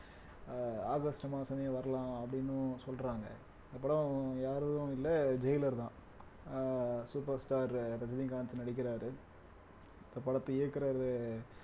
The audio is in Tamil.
அஹ் ஆகஸ்ட் மாசமே வரலாம் அப்படின்னும் சொல்றாங்க அப்புறம் யாரும் இல்ல ஜெய்லர் தான் ஆஹ் superstar ரஜினிகாந்த் நடிக்கிறாரு இந்த படத்தை இயக்குறது